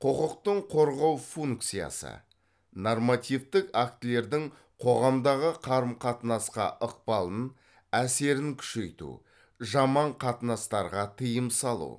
құқықтың қорғау функциясы нормативтік актілердің қоғамдағы қарым қатынасқа ықпалын әсерін күшейту жаман қатынастарға тыйым салу